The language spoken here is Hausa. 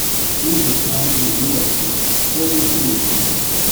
Yin kyakkyawan tunani na da kyau, ko don cin moriyarsa.